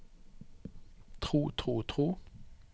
tro tro tro